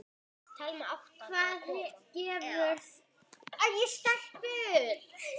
Hvað gefur þetta ykkur?